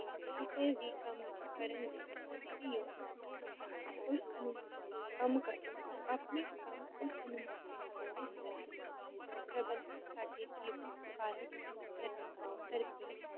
ਕਿਸੇ ਵੀ ਕੰਮ ਕਰਨ ਲਈ ਕਦੇ ਵੀ ਯੋਜਨਾ ਬਣਾਓ ਕੋਈ ਅਨੁਮਾਨ ਕੰਮ ਕਰ ਆਪਣੇ ਕੰਮ ਉਸ ਅਨੁਮਾਨ ਕਰ ਇਸ ਤਰਾਹ ਸਮਾਂ ਪ੍ਰਬੰਧਨ ਸਾਡੇ ਜੀਵ